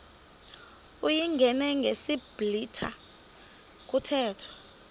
uyingene ngesiblwitha kuthethwa